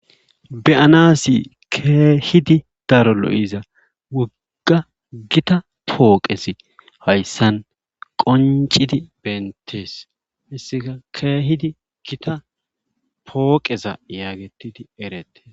Be7anaassi keehidi daro lo7iza wpgga gita pooqezi hayssa qonccidi beenttees hayssika keehidi gita pooqeza yaagetti erettees.